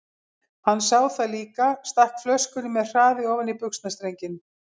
Hann sá það líka, stakk flöskunni með hraði ofan í buxnastrenginn.